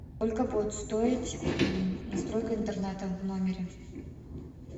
сколько будет стоить настройка интернета в номере